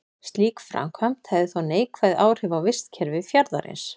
Slík framkvæmd hefði þó neikvæð áhrif á vistkerfi fjarðarins.